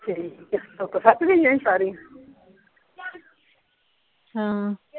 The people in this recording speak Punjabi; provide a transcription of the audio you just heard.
ਠੀਕ ਆ ਸੁੱਕ ਸਕ ਵੀ ਗਈਆਂ ਸਾਰੀਆਂ ਹਾਂ।